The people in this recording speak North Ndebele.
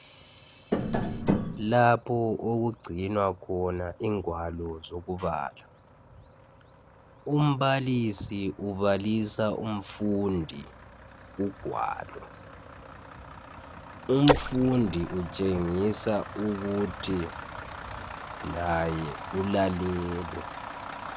lapho okugcinwa khona ingwalo zokubala umbalisi ubalisa umfundi ugwalo umfundi utshengisa ukuthi laye ulalele